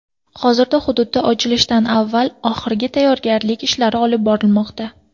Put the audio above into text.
Hozirda hududda ochilishdan avvalgi oxirgi tayyorgarlik ishlari olib borilmoqda.